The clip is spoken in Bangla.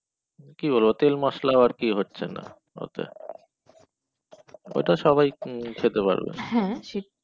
কি বলে তেল মশলা আর কি হচ্ছেনা ওতো ওটা সবাই খেতে পারবে